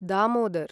Damodar